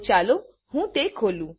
તો ચાલો હું તે ખોલું